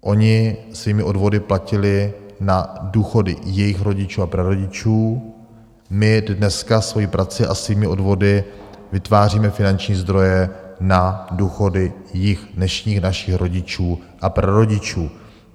Oni svými odvody platili na důchody jejich rodičů a prarodičů, my dneska svojí prací a svými odvody vytváříme finanční zdroje na důchody jich, dnešních našich rodičů a prarodičů.